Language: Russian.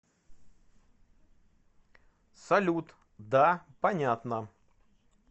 салют да понятно